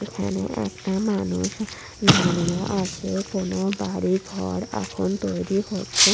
এখানে একটা মানুষ দাঁড়িয়ে আছে কোন বাড়ি ঘর এখন তৈরি হচ্ছে।